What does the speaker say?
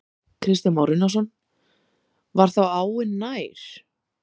Kristján Már Unnarsson: Var þá áin nær?